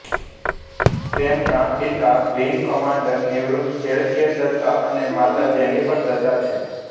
તેમનાં પિતા wing commander નિવૃત એલ કે દત્તા અને માતા જેનિફર દત્તા છે